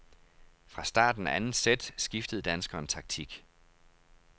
Fra starten af andet sæt skiftede danskeren taktik.